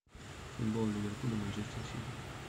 футбол ливерпуль и манчестер сити